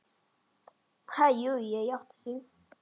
Ha, jú ég játti því.